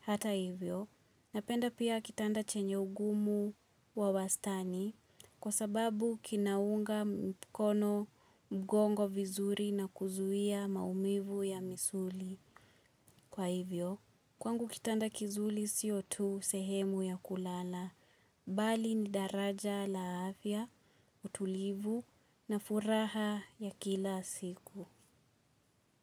Hata hivyo, napenda pia kitanda chenye ugumu wa wastani kwa sababu kinaunga mkono mgongo vizuri na kuzuia maumivu ya misuli. Kwa hivyo, kwangu kitanda kizuli sio tu sehemu ya kulala, bali ni daraja la afya, utulivu na furaha ya kila siku.